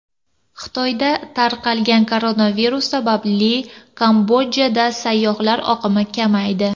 Xitoyda tarqalgan koronavirus sababli Kambodjada sayyohlar oqimi kamaydi .